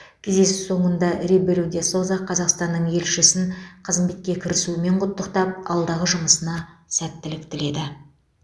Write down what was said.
кездесу соңында ребелу де соза қазақстанның елшісін қызметке кірісуімен құттықтап алдағы жұмысына сәттілік тіледі